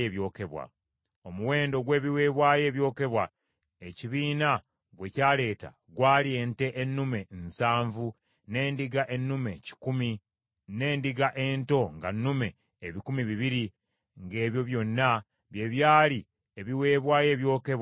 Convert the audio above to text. Omuwendo gw’ebiweebwayo ebyokebwa ekibiina gwe kyaleeta gwali ente ennume nsanvu, n’endiga ennume kikumi, n’endiga ento nga nnume ebikumi bibiri, ng’ebyo byonna bye byali ebiweebwayo ebyokebwa eri Mukama .